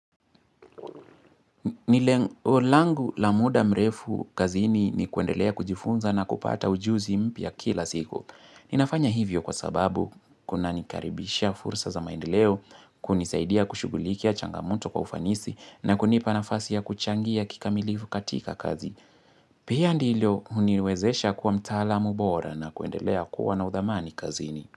Ni lengo langu la muda mrefu kazini ni kuendelea kujifunza na kupata ujuzi mpya kila siku. Ninafanya hivyo kwa sababu, kuna nikaribishia fursa ya maendeleo, kunisaidia kushugulikia changamoto kwa ufanisi na kunipa nafasi ya kuchangia kikamilifu katika kazi. Pia ndilio huniwezesha kuwa mtaalamu bora na kuendelea kuwa na udhamani kazini.